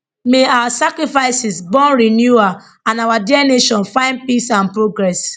may our sacrifices born renewal and our dear nation find peace and progress